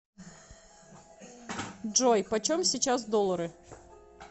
джой почем сейчас доллары